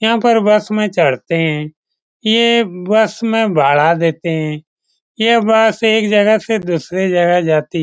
यहाँ पर बस मे चढते हैं। ये बस मे भाड़ा देते हैं। ये बस एक जगह से दुसरी जगह जाती --